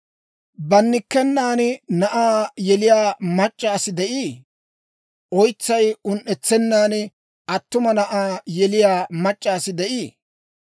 «Bannikkenan na'aa yeliyaa mac'c'a asi de'ii? Oytsay un"etsennan attuma na'aa yeliyaa mac'c'a asi de'ii?